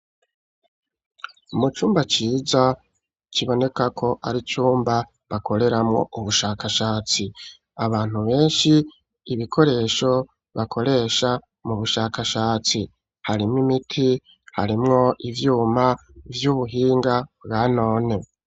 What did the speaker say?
Umu cumba ciza kiboneka ko ari cumba bakoreramwo ubushakashatsi abantu benshi ibikoresho bakoresha mu bushakashatsi harimwo imiti harimwo ivyuma vy'ubuhinga bwa none.